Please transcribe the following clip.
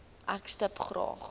ek stip graag